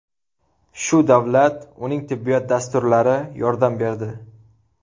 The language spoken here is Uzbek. Shu davlat, uning tibbiyot dasturlari yordam berdi.